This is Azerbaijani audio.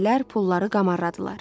Əsgərlər pulları qamardılar.